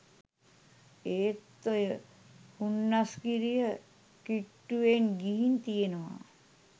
එත් ඔය හුන්නස්ගිරිය කිට්ටුවෙන් ගිහින් තියෙනවා